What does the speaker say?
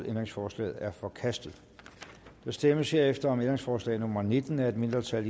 ændringsforslaget er forkastet der stemmes herefter om ændringsforslag nummer nitten af et mindretal